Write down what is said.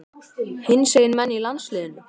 Hinsegin menn í landsliðinu?